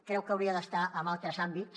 creu que hauria d’estar en altres àmbits